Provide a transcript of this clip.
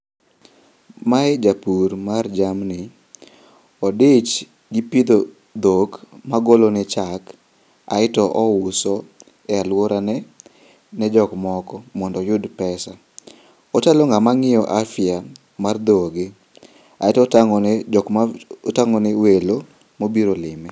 Mae japur mar jamni. Odich gi pidho dhok magolone chak aeto ouso e aluorane ne jokmoko mondo oyud pesa. Ochalo ng'ama ng'iyo afya mar dhoge ae totang'one jokma, otang'one welo mobiro lime.